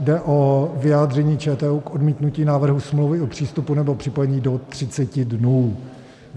Jde o vyjádření ČTÚ k odmítnutí návrhu smlouvy o přístupu nebo připojení do 30 dnů.